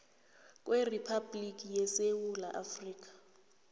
kweriphabhligi yesewula afrika